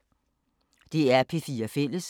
DR P4 Fælles